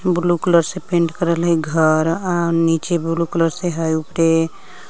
blue colour से paint करल हइ घर आव नीचे ब्लू कलर से हइ उपरे--